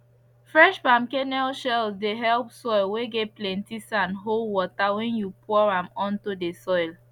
fresh palm kernel shells dey help soil whey get plenty sand hold water when you pour am onto the soil